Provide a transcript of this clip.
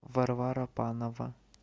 варвара панова